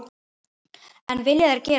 En vilja þeir gera það?